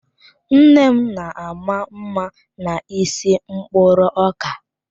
Nne m na-ama mma n'isi mkpụrụ ọka.